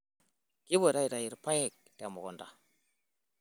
Kipuoto aitayu ilpayek temukunta.